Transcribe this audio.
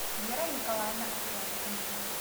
вера николаевна отряскина